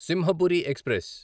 Simhapuri express